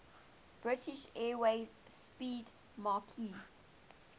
british airways 'speedmarque